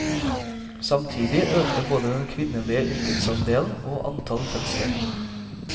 Samtidig økte både den kvinnelige yrkesandelen og antall fødsler.